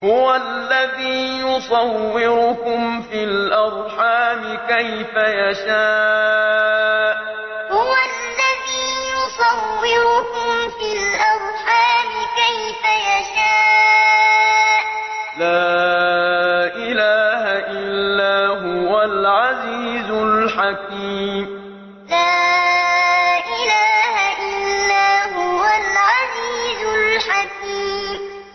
هُوَ الَّذِي يُصَوِّرُكُمْ فِي الْأَرْحَامِ كَيْفَ يَشَاءُ ۚ لَا إِلَٰهَ إِلَّا هُوَ الْعَزِيزُ الْحَكِيمُ هُوَ الَّذِي يُصَوِّرُكُمْ فِي الْأَرْحَامِ كَيْفَ يَشَاءُ ۚ لَا إِلَٰهَ إِلَّا هُوَ الْعَزِيزُ الْحَكِيمُ